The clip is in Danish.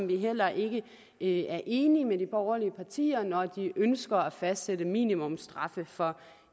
vi heller ikke ikke enige med de borgerlige partier når de ønsker at fastsætte minimumsstraffe for